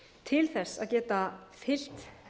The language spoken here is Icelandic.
til þess að geta fylgt